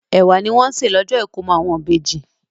Ẹ̀wà ni wọ́n sè ní ọjọ́ ìkómọ àwọn ìbejì.